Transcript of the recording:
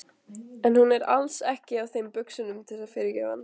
En hún er alls ekki á þeim buxunum að fyrirgefa honum.